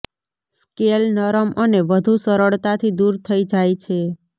scale નરમ અને વધુ સરળતાથી દૂર થઈ જાય છે